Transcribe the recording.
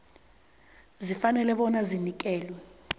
zifanele bona zinikelwe